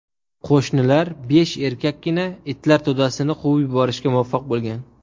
Qo‘shnilar besh erkakkina itlar to‘dasini quvib yuborishga muvaffaq bo‘lgan.